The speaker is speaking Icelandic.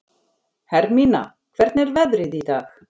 Hermína, hvernig er veðrið í dag?